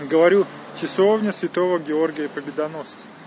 ну говорю часовня святого георгия победоносца